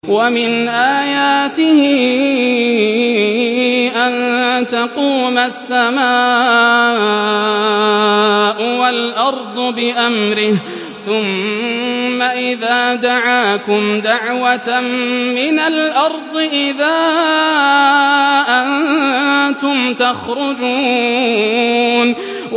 وَمِنْ آيَاتِهِ أَن تَقُومَ السَّمَاءُ وَالْأَرْضُ بِأَمْرِهِ ۚ ثُمَّ إِذَا دَعَاكُمْ دَعْوَةً مِّنَ الْأَرْضِ إِذَا أَنتُمْ تَخْرُجُونَ